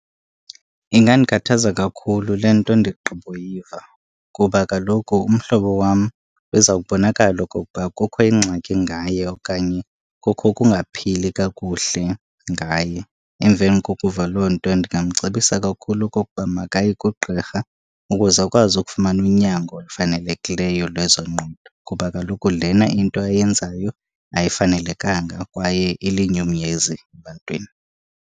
Ingandikhathaza kakhulu le nto ndigqiboyiva, kuba kaloku umhlobo wam uzawubonakala okokuba kukho ingxaki ngaye okanye kukho ukungaphili kakuhle ngaye. Emveni kokuva loo nto ndingamcebisa kakhulu okokuba makaye kugqirha ukuze akwazi ukufumana unyango olufanelekileyo lwezengqondo, kuba kaloku lena into ayenzayo ayifanelekanga kwaye ilinyungunyezi ebantwini.